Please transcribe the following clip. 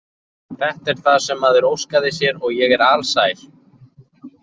Þetta er það sem maður óskaði sér og ég er alsæl.